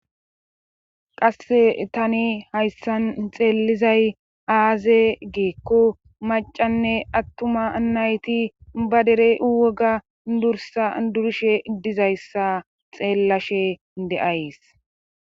Qasse tani hayssan xeelizay aaze geekko macanne attuma anayti ba dere woga dursa durishe iddizayssa xeellashe de7ays.